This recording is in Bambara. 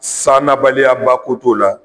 San nabaliya ko t'o la